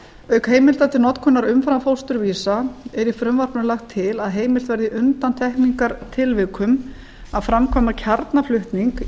auk heimilda til notkunar umframfósturvísa er í frumvarpinu lagt til að heimilt verði í undantekningartilvikum að framkvæma kjarnaflutning